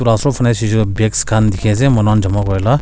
bags khan dikhi ase manu khan jama kuri la.